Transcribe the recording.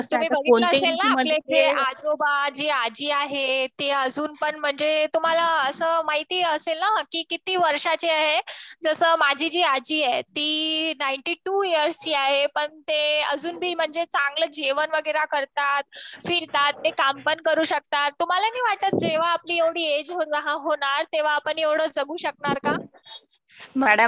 हो मॅडम, तुम्ही बघितले असेल ना. आपले जे अजोबा जे आजी आहे ते अजून पण म्हणजे तुम्हाला तर माहिती असेल ना किती वर्षाचे जे माझी जी आजी आहे ती नाईंटी टू इयर्स ची आहे. पण ते अजून बी म्हणजे चांगले जेवण वगैरे करतात. फिरतात पण काम पण करू शकतात तुम्हाला नाही वाटत जेव्हा आपली एवढी एज होणार तेव्हा आपण जगू शकणार का?